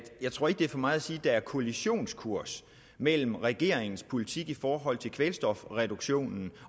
jeg tror ikke det er for meget at sige at der er kollisionskurs mellem regeringens politik i forhold til kvælstofreduktionen